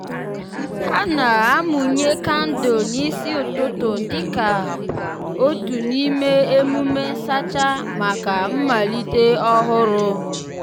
ha na-amụnye kandụl n'isi ụtụtụ dịka ụtụtụ dịka otu n'ime emume nsacha maka mmalite ọhụrụ.